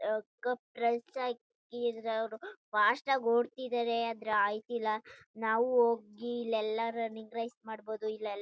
Fast ಆಗಿ ಓಡ್ತಿದಾರೆ ಆದ್ರೆ ಅಯ್ತಿಲ ನಾವು ಹೋಗಿ ಇಲ್ಲಿ ಎಲ್ಲ ರನ್ನಿಂಗ್ ರೇಸ್ ಮಾಡ್ಬೋದು.